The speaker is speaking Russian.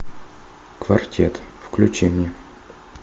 квартет включи мне